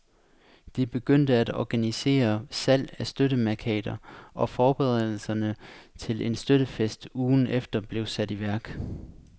De begyndte at organisere salg af støttemærkater, og forberedelserne til en støttefest ugen efter blev sat i værk.